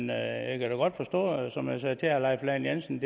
da godt forstå som jeg sagde til herre leif lahn jensen